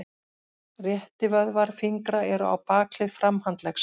Réttivöðvar fingra eru á bakhlið framhandleggs.